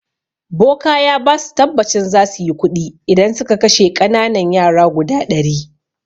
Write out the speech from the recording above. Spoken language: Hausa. Boka ya basu tabbacin zasuyi kuɗi idan suka kashe ƙananan yara guda ɗari